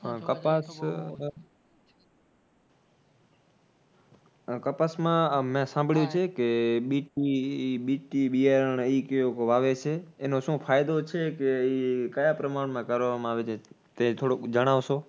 આહ કપાસમાં મે સંભાળ્યું છે કે બીટની, BT બિયારાણ જેઓ વાવે છે એનો શું ફાયદો છે કે એ ક્યાં પ્રમાણમાં કરવામાં આવે છે તે થોડુક જણાવશો?